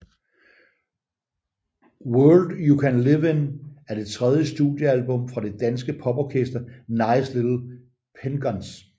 World You Can Live In er det tredje studiealbum fra det danske poporkester Nice Little Penguins